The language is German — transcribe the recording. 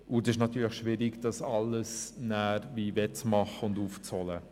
Es ist natürlich schwierig, das alles wettzumachen und aufzuholen.